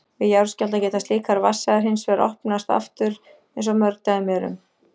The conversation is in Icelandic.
Við jarðskjálfta geta slíkar vatnsæðar hins vegar opnast aftur eins og mörg dæmi eru um.